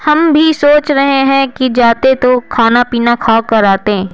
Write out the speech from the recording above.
हम भी सोच रहे हैं कि जाते तो खाना पीना खा कर आते--